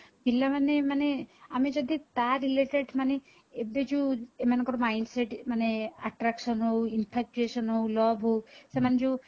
ପିଲାମାନେ ମାନେ ଆମେ ଯଦି ତା related ମାନେ ଏବେ ଯୋଉ ଏମାନଙ୍କର mind set ମାନେ attraction ହଉ infra creation ହଉ love ହଉ ସେମାନେ ଯୋଉ